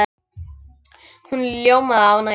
Hún ljómaði af ánægju.